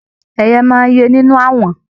Ẹyẹ máa n ye ẹyìn nínú awọ̀n.